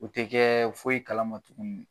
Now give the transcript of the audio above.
U ti kɛ foyi kalama tuguni.